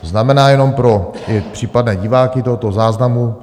To znamená - jenom pro případné diváky tohoto záznamu.